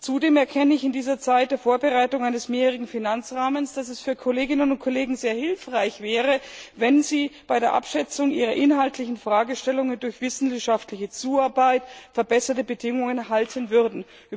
Zudem erkenne ich in dieser Zeit der Vorbereitung eines mehrjährigen Finanzrahmens, dass es für Kolleginnen und Kollegen sehr hilfreich wäre, wenn sie bei der Abschätzung ihrer inhaltlichen Fragestellungen durch wissenschaftliche Zuarbeit verbesserte Bedingungen erhalten würden.